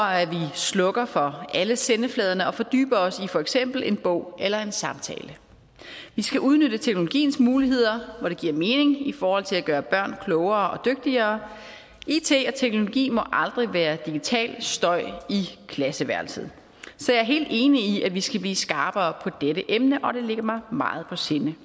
slukker for alle sendefladerne og fordyber os i for eksempel en bog eller en samtale vi skal udnytte teknologiens muligheder hvor det giver mening i forhold til at gøre børn klogere og dygtigere it og teknologi må aldrig være digital støj i klasseværelset så jeg er helt enig i at vi skal blive skarpere på dette emne og det ligger mig meget på sinde